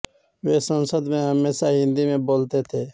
वे संसद में हमेशा हिन्दी में बोलते थे